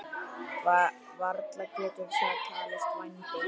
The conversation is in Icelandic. Varla getur það talist vændi?